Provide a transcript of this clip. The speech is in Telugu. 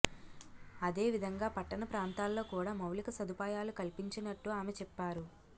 అదేవిధంగా పట్టణ ప్రాంతాల్లో కూడా మౌలిక సదుపాయాలు కల్పించినట్టు ఆమె చెప్పారు